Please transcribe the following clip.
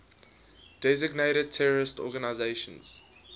designated terrorist organizations